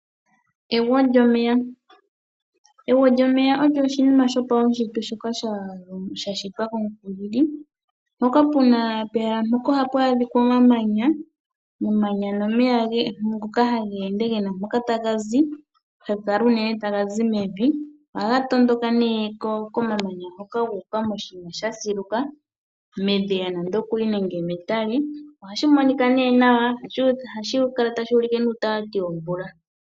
Egwo lyomeya. Egwo lyomeya olyo oshinima sho paushitwe shoka sha shitwa kOmukulili. Mpoka oha pu adhikwa omamanya. Omamanya nomeya ngoka hage ende gena mpoka taga zi. Haga kala unene taga zi mevi. Oha ga tondoka nee komamanya hoka gu uka moshiima sha siluka. Medhiya nande okuli nenge metale. Ohashi monika nee nawa. Ohashi kala tashi ulike nuutati womvula.